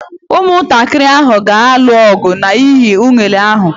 Ụmụntakịrị ahụ ga-alụ ọgụ n'ihi unere ahụ.